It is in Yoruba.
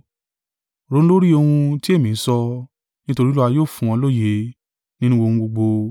Ronú lórí ohun ti èmi ń sọ; nítorí Olúwa yóò fún ọ lóye nínú ohun gbogbo.